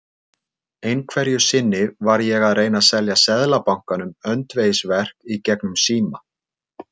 Einhverju sinni var ég að reyna að selja Seðlabankanum öndvegisverk í gegnum síma.